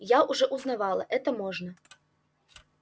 я уже узнавала это можно